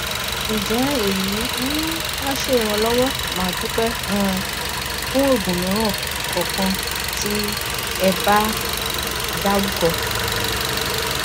nje eyi um a se iranlowo madupe um fun ogun miran kan kan ti eba daruko